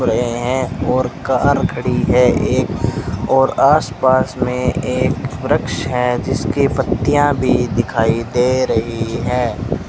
हैं और कार खड़ी है एक और आस पास में एक वृक्ष है जिसकी पत्तियां भी दिखाई दे रही हैं।